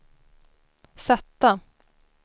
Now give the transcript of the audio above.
sätta